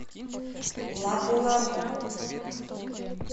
лапу лапу